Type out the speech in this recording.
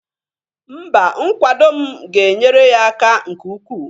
Mba, nkwado m ga-enyere ya aka nke ukwu